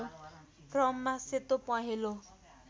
क्रममा सेतो पहेँलो